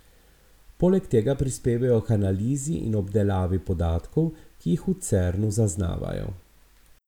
Poleg tega prispevajo k analizi in obdelavi podatkov, ki jih v Cernu zaznavajo.